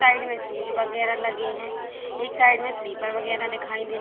side में shoes वगैरा लगे हैं एक साइड में स्लीपर वगैरा दिखाई दे रहे --